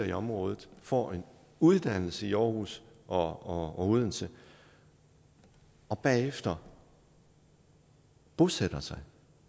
i området får en uddannelse i aarhus og odense og bagefter bosætter sig